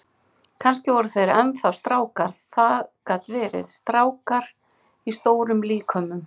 Kannski voru þeir enn þá strákar, það gat verið, strákar í stórum líkömum.